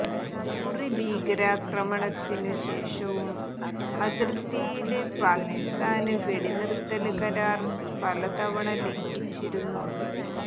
ഉറി ഭീകരാക്രമണത്തിനു ശേഷവും അതിര്ത്തിയില് പാക്കിസ്ഥാന് വെടിനിര്ത്തല് കരാര് പലതവണ ലംഘിച്ചിരുന്നു